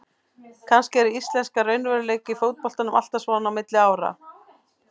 Kannski er íslenskur raunveruleiki í fótboltanum alltaf svona á milli ára.